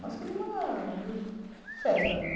Nós queremos uma festa mesmo.